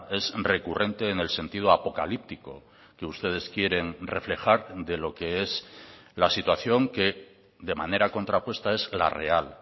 es recurrente en el sentido apocalíptico que ustedes quieren reflejar de lo que es la situación que de manera contrapuesta es la real